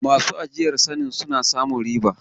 Masu ajiyar sanin suna samun riba